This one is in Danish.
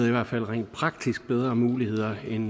i hvert fald rent praktisk får bedre muligheder end